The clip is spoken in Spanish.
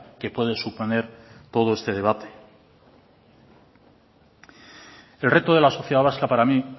que puede suponer todo este debate el reto de la sociedad vasca para mí